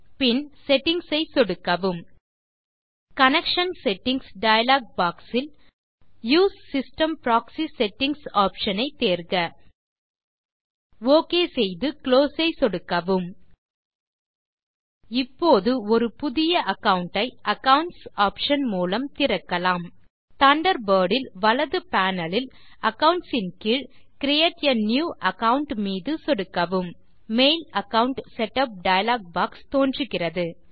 பின் settings ஐ சொடுக்கவும் connection settings dialog box இல் use system proxy settings option ஐ தேர்க ஒக் செய்து குளோஸ் ஐ சொடுக்கவும் இப்போது ஒரு புதிய அகாவுண்ட் ஐ அக்கவுண்ட்ஸ் ஆப்ஷன் மூலம் திறக்கலாம் தண்டர்பர்ட் இல் வலது பேனல் லில் அக்கவுண்ட்ஸ் ன் கீழ்Create ஆ நியூ அகாவுண்ட் மீது சொடுக்கவும் mail account setup dialog box தோன்றுகிறது